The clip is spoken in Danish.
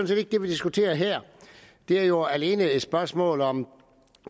set ikke det vi diskuterer her det er jo alene et spørgsmål om